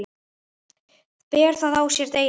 Ber það á sér delinn.